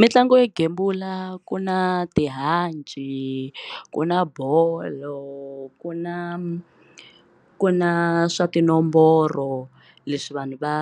Mitlangu yo gembula ku na tihanci ku na bolo ku na ku na swa tinomboro leswi vanhu va